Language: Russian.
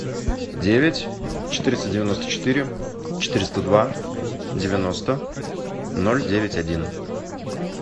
девять четыреста девяносто четыре четыреста два девяносто ноль девять один